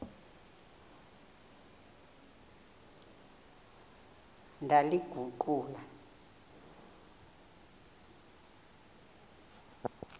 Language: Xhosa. ndaliguqula